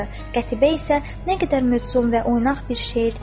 Qətibə isə "Nə qədər mövzun və oynaq bir şeirdi" dedi.